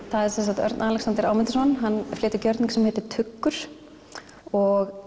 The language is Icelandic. það er sem sagt Örn Alexander Ámundason hann flytur gjörning sem heitir tuggur og